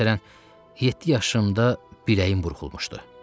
Məsələn, yeddi yaşımda biləyim burxulmuşdu.